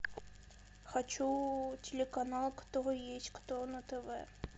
хочу телеканал кто есть кто на тв